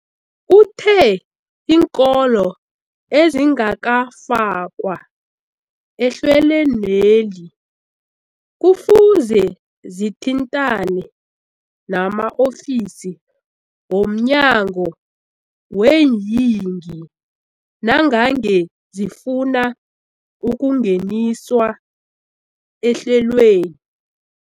Uthe iinkolo ezingakafakwa ehlelweneli kufuze zithintane nama-ofisi wo mnyango weeyingi nangange zifuna ukungeniswa ehlelweni.